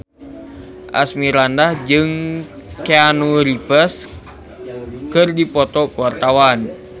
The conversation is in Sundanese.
Asmirandah jeung Keanu Reeves keur dipoto ku wartawan